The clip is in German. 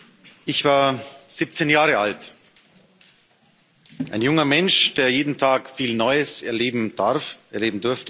Herr Präsident! Ich war 17 Jahre alt. Ein junger Mensch, der jeden Tag viel Neues erleben darf, erleben durfte.